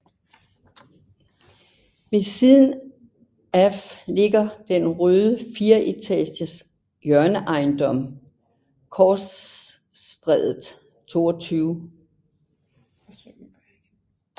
Ved siden af ligger den røde fireetages hjørneejendom Klosterstræde 22